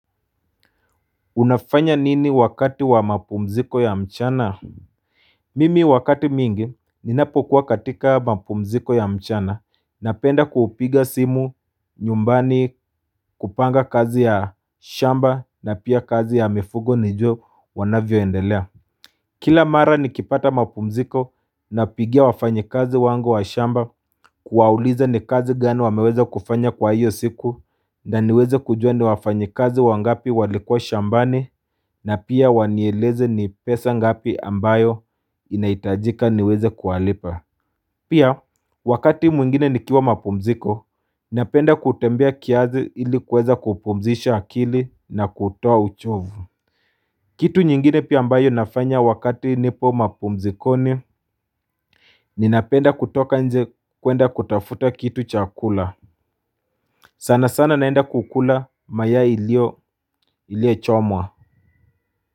Unafanya nini wakati wa mapumziko ya mchana Mimi wakati mingi ninapokuwa katika mapumziko ya mchana, napenda kuupiga simu nyumbani, kupanga kazi ya shamba na pia kazi ya mifugo nijue wanavyoendelea Kila mara nikipata mapumziko napigia wafanyikazi wangu wa shamba kuwauliza ni kazi gani wameweza kufanya kwa hiyo siku na niweze kujua ni wafanyikazi wangapi walikua shambani na pia wanieleze ni pesa ngapi ambayo inahitajika niweze kuwalipa Pia wakati mwingine nikiwa mapumziko napenda kutembea kiazi ilikuweza kupumzisha akili na kutoa uchovu Kitu nyingine pia ambayo inafanya wakati nipo mapumzikoni Ninapenda kutoka nje kuenda kutafuta kitu cha kula sana sana naenda kukula mayai ilio iliochomwa.